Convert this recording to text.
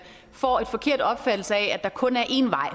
får en forkert opfattelse af at der kun er én vej